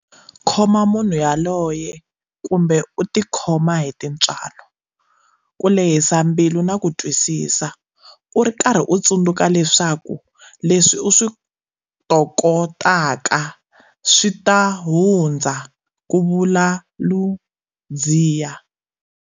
Khoma munhu yaloye kumbe u tikhoma hi tintswalo, ku lehisa mbilu na ku twisisa, u ri karhi u tsundzuka leswaku leswi u swi tokotaka swi ta hundza, ku vula Ludziya.